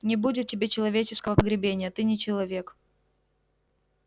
не будет тебе человеческого погребения ты не человек